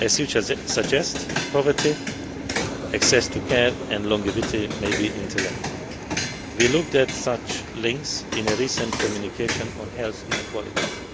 As you suggest, poverty, access to care and longevity may be interlinked. We looked at such links in a recent communication on health inequalities.